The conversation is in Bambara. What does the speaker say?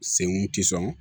Senkun ti sɔn